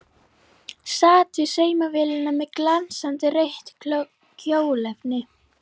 Sat við saumavélina með glansandi rautt kjólefni.